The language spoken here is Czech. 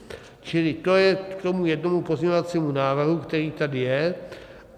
Čili to je k tomu jednomu pozměňovacímu návrhu, který tady je.